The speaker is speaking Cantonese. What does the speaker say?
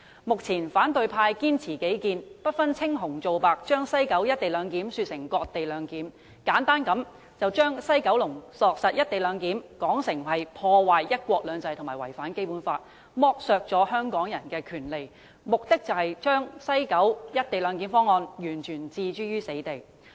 目前反對派堅持己見，不分青紅皂白，把西九龍站的"一地兩檢"方案說成是"割地兩檢"，簡單地把西九龍站落實"一地兩檢"安排說成是破壞"一國兩制"及違反《基本法》，剝削香港人權利之舉，目的是要把西九龍站"一地兩檢"安排完全置諸死地。